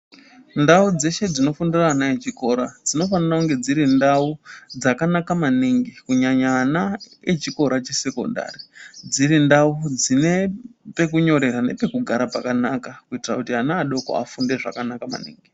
Ndau dzeshe dzinofundira ana echikora dzinofanira kunge dziri ndau dzakanaka maningi kunyanya ana echikora chesekondari, dziri ndau dzine pekunyorera nepekugara pakanaka kuitira kuti ana adoko afunde zvakanaka maningi.